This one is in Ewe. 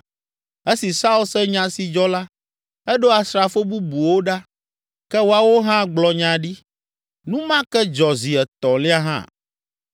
Esi Saul se nya si dzɔ la, eɖo asrafo bubuwo ɖa, ke woawo hã gblɔ nya ɖi! Nu ma ke dzɔ zi etɔ̃lia hã.